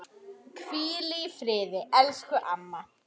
Hvíli í friði, elsku amma.